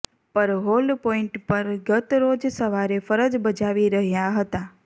પર hold point પર ગત રોજ સવારે ફરજ બજાવી રહ્યા હતા